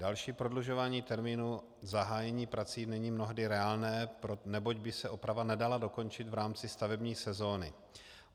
Další prodlužování termínu zahájení prací není mnohdy reálné, neboť by se oprava nedala dokončit v rámci stavební sezóny.